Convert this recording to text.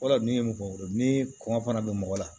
O de ye mɔgɔ wolo ni kɔngɔ fana bɛ mɔgɔ la